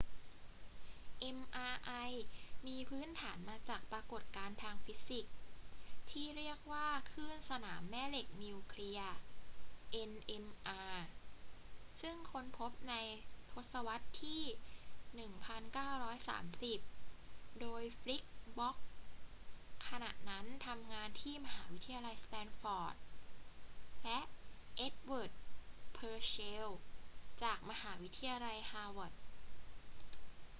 mri มีพื้นฐานมาจากปรากฏการณ์ทางฟิสิกส์ที่เรียกว่าคลื่นสนามแม่เหล็กนิวเคลียร์ nmr ซึ่งค้นพบในทศวรรษที่ 1930 โดย ฟีลิกซ์ บล็อค ขณะนั้นทำงานที่มหาวิทยาลัยสแตนฟอร์ด และ เอ็ดเวิร์ด เพอร์เซลล์ จากมหาวิทยาลัยฮาร์วาร์ด